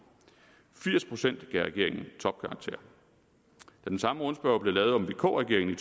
firs procent gav regeringen topkarakter da den samme rundspørge blev lavet om vk regeringen